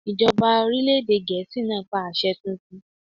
Ìjọba orílẹ̀ èdè Gèésì pa àṣẹ tuntun!